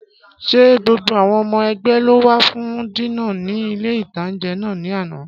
Ṣé gbogbo àwọn ọmọ ẹ̀gbẹ́ ló wá fún dínà ní ilé-ìtánjẹ náà ní àná?